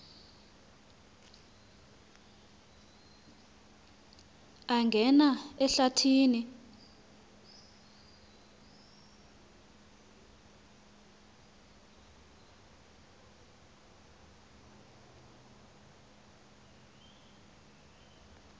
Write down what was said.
angena ehlathi ni